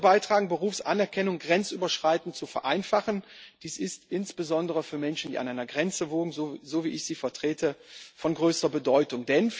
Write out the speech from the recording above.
Sie wird dazu beitragen, Berufsanerkennung grenzüberschreitend zu vereinfachen. Dies ist insbesondere für Menschen, die an einer Grenze wohnen, so wie ich sie vertrete, von größter Bedeutung.